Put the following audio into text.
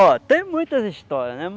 Ó, tem muitas histórias, né?